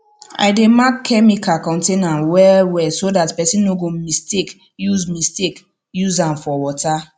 i dey mark chemical container well well so dat person no go mistake use mistake use am for water